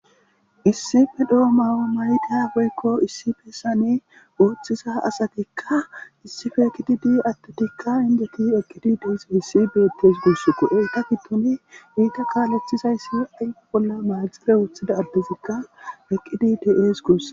Issipe dhoo maawo mayda woykko issi fesane ooththisa asatikka issife ekidi di attotikka injeti eqqidi dies essi beettes guuss qo7e ta ki tuni iita kaalethizayssi aygu bolla maaxire woththida aldezikka eqqidi ties guussa